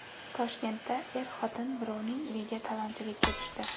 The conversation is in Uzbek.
Toshkentda er-xotin birovning uyiga talonchilikka tushdi.